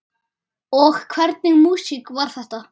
Og hvernig músík var þetta?